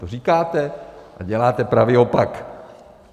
To říkáte, a děláte pravý opak!